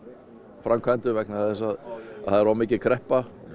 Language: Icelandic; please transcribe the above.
framkvæmdum vegna þess að það er of mikil kreppa